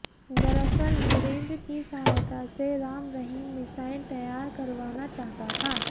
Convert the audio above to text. दरअसल वीरेन्द्र की सहायता से राम रहीम मिसाइल तैयार करवाना चाहता था